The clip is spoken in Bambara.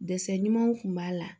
Dɛsɛ ɲumanw kun b'a la